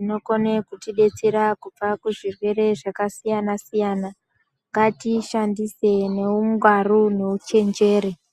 inokone kutibetsera kubva kuzvirwere zvakasiyana siyana. Ngatiyishandise neungwaru neu chenjeri.